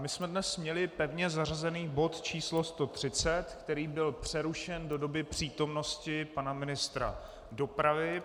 My jsme dnes měli pevně zařazen bod číslo 130, který byl přerušen do doby přítomnosti pana ministra dopravy.